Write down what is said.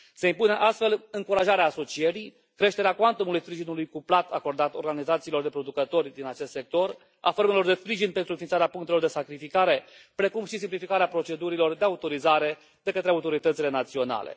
Se impune astfel încurajarea asocierii, creșterea cuantumului sprijinului cuplat acordat organizațiilor de producători din acest sector, a formelor de sprijin pentru înființarea punctelor de sacrificare, precum și simplificarea procedurilor de autorizare de către autoritățile naționale.